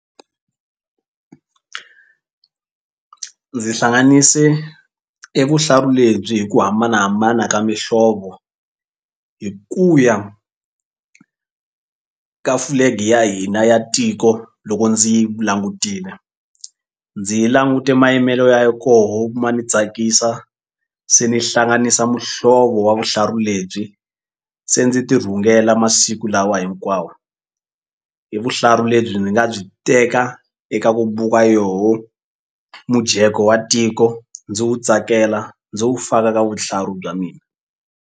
Ndzi hlanganise e vuhlalu lebyi hi ku hambanahambana ka mihlovo hi ku ya ka flag ya hina ya tiko loko ndzi yi langutile. Ndzi yi langute mayimelo ya koho ma ni tsakisa se ni hlanganisa muhlovo wa vuhlalu lebyi se ndzi tirhungela masiku lawa hinkwawo i vuhlalu lebyi ndzi nga byi teka eka ku buka yoho mujeko wa tiko ndzi wu tsakela ndzi wu faka ka vuhlalu bya mina.